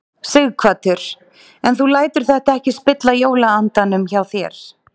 Sighvatur: En þú lætur þetta ekki spilla jólaandanum hjá þér?